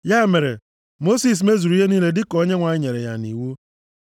Ya mere, Mosis mezuru ihe niile dịka Onyenwe anyị nyere ya nʼiwu.